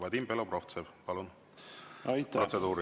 Vadim Belobrovtsev, palun, protseduuriline!